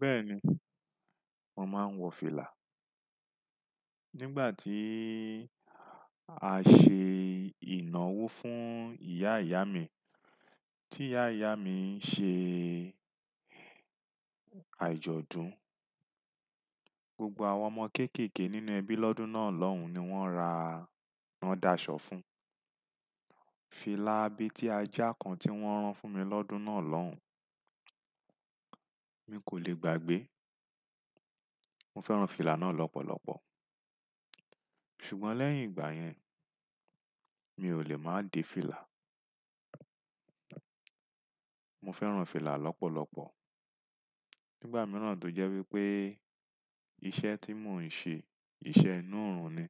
Bẹ́ẹ̀ni, mo máa ń wọ fìlà. Nígbà tí a ṣe ìnáwó fún ìyá ìyá mi, tí ìyá ìyá mi ń ṣe àjọ̀dún, gbogbo àwọn ọmọ kéékèèké nínú ẹbí lọ́dún náà lọ́hùn ni wọ́n ra, wọ́n dàṣọ fún. Fìlà abẹ́ tí a já kan tí wọ́n rán fún mi lọ́dún náà lọ́hùn, mi kò lè gbàgbé. Mo fẹ́ran fìlà náà lọ́pọ̀lọpọ̀. Ṣùgbọ́n lẹ́yìn ìgbà yẹn, mi ò lè máa de fìlà. Mo fẹ́ran fìlà lọ́pọ̀lọpọ̀. Nígbà mìíràn tó jẹ́ wípé iṣẹ́ tí mò ń ṣe iṣẹ́ inú òòrùn ni,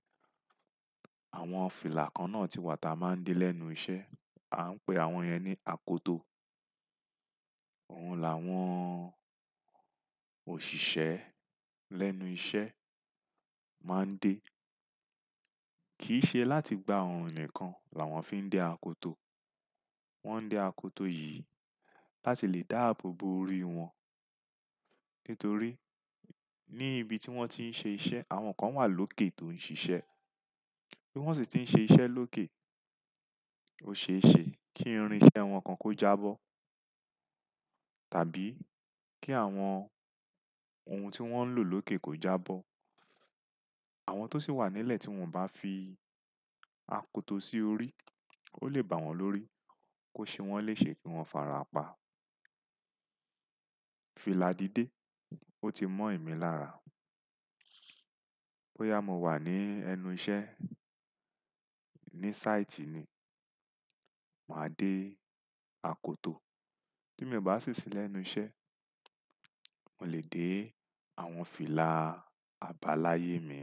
àwọn fìlà kan náà ti wà tí a máa ń dé lẹ́nu iṣẹ́. A ń pè àwọn yẹn ní àkótò. Ohun làwọn òṣìṣẹ́ lẹ́nu iṣẹ́ máa ń dé. Kì í ṣe láti gbá oorun nìkan làwọn fi ń dé àkótò. Wọ́n ń dé àkótò yìí láti lè dáàbò bo orí wọn. Nítorí ní ibi tí wọ́n ti ń ṣe iṣẹ́, àwọn kan wà lókè tó ń ṣiṣẹ́. Bí wọ́n sì ti ń ṣe iṣẹ́ lókè, ó ṣe é ṣe kí irin iṣẹ́ wọn kan kó jábọ́. Tàbí kí àwọn ohun tí wọ́n ń lò lókè kó jábọ́. Àwọn tó sì wà nílẹ̀ tí wọ́n ò bá fi àkótò sí orí, ó lè bà wọ́n lórí. Kò ṣe wọ́n lè ṣe kí wọ́n fara pa. Fìlà dídé, ó ti mọ́ emí lára. Bóyá mo wà ní ẹnu iṣẹ́, ní sáìtì ni, màá dé àkótò. Bí mi o bá sì ṣí lẹ́nu iṣẹ́, mo lè dé àwọn fìlà abala yé mi.